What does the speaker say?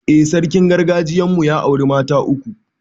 I, sarkin gargajiyan mu ya auri mata uku